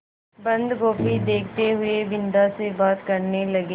बन्दगोभी देखते हुए बिन्दा से बात करने लगे